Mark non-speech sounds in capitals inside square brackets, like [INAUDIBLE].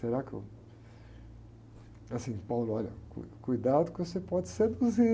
Será que eu... Assim, [UNINTELLIGIBLE] olha, cui, cuidado que você pode seduzir.